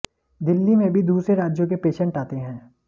दिल्ली में भी दूसरे राज्यों के पेशंट आते हैं